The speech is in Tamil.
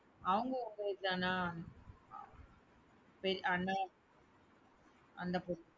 அவங்க உங்க ஊரு தானா? அண்ணா அந்த